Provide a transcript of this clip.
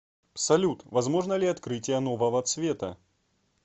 салют возможно ли открытие нового цвета